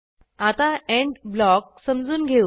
आता end block समजून घेऊ